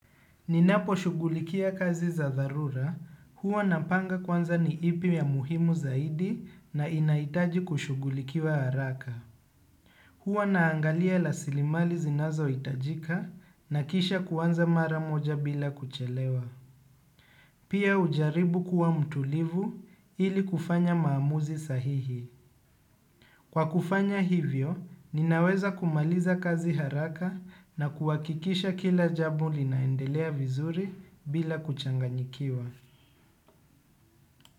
Ninapo shughulikia kazi za dharura, huwa napanga kwanza ni ipi ya muhimu zaidi na inahitaji kushugulikiwa haraka. Huwa naangalia rasilimali zinazohitajika na kisha kuanza mara moja bila kuchelewa. Pia hujaribu kuwa mtulivu ili kufanya maamuzi sahihi. Kwa kufanya hivyo, ninaweza kumaliza kazi haraka na kuhakikisha kila jambo linaendelea vizuri bila kuchanganyikiwa.